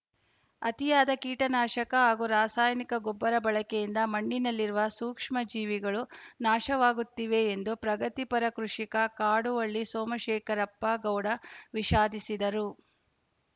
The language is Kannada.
ಅತಿಯಾದ ಕೀಟನಾಶಕ ಹಾಗೂ ರಾಸಾಯನಿಕ ಗೊಬ್ಬರ ಬಳಕೆಯಿಂದ ಮಣ್ಣಿನಲ್ಲಿರುವ ಸೂಕ್ಷ್ಮ ಜೀವಿಗಳು ನಾಶವಾಗುತ್ತಿವೆ ಎಂದು ಪ್ರಗತಿಪರ ಕೃಷಿಕ ಕಾಡುವಳ್ಳಿ ಸೋಮಶೇಖರಪ್ಪ ಗೌಡ ವಿಷಾದಿಸಿದರು